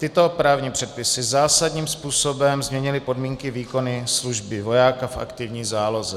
Tyto právní předpisy zásadním způsobem změnily podmínky výkonu služby vojáků v aktivní záloze.